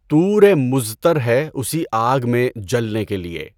طُور مضطر ہے اُسی آگ میں جلنے کے لیے